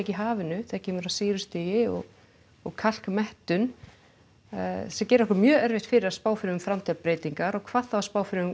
í hafinu þegar kemur að sýrustigi og og kalkmettun sem gerir okkur mjög erfitt fyrir að spá fyrir um framtíðarbreytingar og hvað þá að spá fyrir um